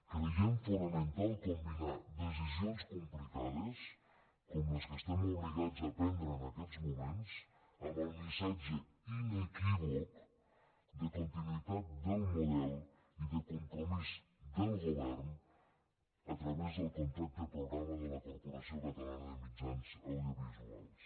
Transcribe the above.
creiem fonamental combinar decisions complicades com les que estem obligats a prendre en aquests moments amb el missatge inequívoc de continuïtat del model i de compromís del govern a través del contracte programa de la corporació catalana de mitjans audiovisuals